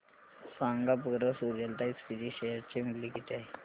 सांगा बरं Suryalata SPG share चे मूल्य किती आहे